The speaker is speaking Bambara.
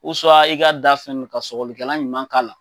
i ka da fɛ nu ka sɔgɔlikɛlan ɲuman k'a la.